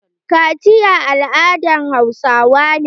Kaciya al'adan hausawa ne.